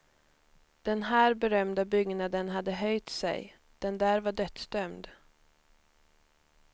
Den här berömda byggnaden hade höjt sig, den där var dödsdömd.